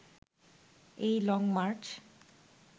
এই লংমার্চ